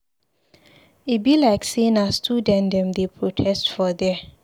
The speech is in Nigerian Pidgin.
E be like sey na student dem dey protest for there.